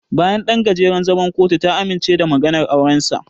Bayan ɗan gajeren zaman kotu, ta amince da maganar aurensa.